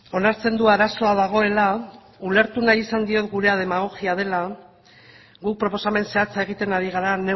onartzen du arazoa dagoela ulertu nahi izan diot gurea demagogia dela guk proposamen zehatza egiten ari gara